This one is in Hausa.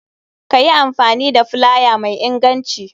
Kayi amfani da filaya mai inganci.